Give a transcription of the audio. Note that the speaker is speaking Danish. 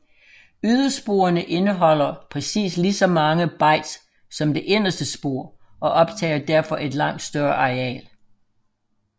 Ydersporene indeholder præcis lige så mange bytes som det inderste spor og optager derfor et langt større areal